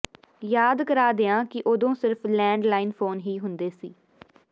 ਯਾਦ ਕਰਾਂ ਦਿਆਂ ਕਿ ਉਦੋਂ ਸਿਰਫ਼ ਲੈਂਡ ਲਾਈਨ ਫ਼ੋਨ ਹੀ ਹੁੰਦੇ ਸੀ